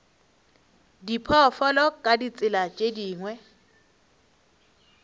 diphoofolo ka ditsela tše dingwe